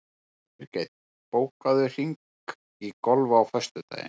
Birgit, bókaðu hring í golf á föstudaginn.